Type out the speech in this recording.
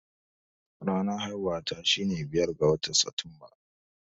Ranar haihuwata shine biyar ga watan Satumba.